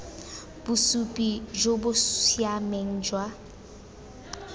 bosupi jo bo siameng jwa